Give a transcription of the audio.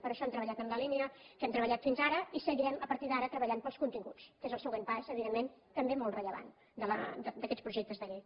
per això hem treballat en la línia que hem treballat fins ara i seguirem a partir d’ara treballant pels continguts que és el següent pas evidentment també molt rellevant d’aquests projectes de llei